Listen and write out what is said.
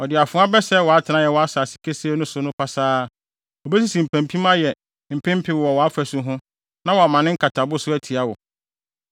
Ɔde afoa bɛsɛe wʼatenae a ɛwɔ asase kesee no so no pasaa; obesisi mpampim ayɛ mpempe wɔ wʼafasu ho na wama ne nkatabo so atia wo.